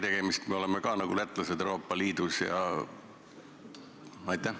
Pealegi me oleme nagu lätlasedki Euroopa Liidus?